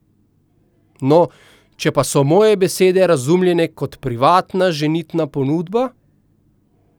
No, če pa so moje besede razumljene kot privatna ženitna ponudba ...